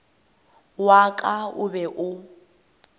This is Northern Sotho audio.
wa ka o be o